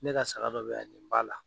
Ne ka saga dɔ bɛ ya nin b'a la.